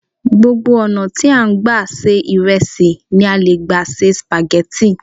Gbogbo ọ̀nà tí a n gba se ìrẹsì ni a leè gbà se spaghetti